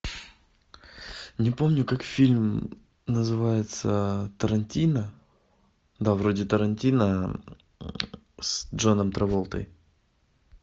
не помню как фильм называется тарантино да вроде тарантино с джоном траволтой